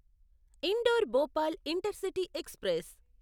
indoor Bhopal intercity express